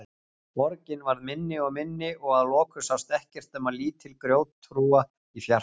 Borgin varð minni og minni og að lokum sást ekkert nema lítil grjóthrúga í fjarska.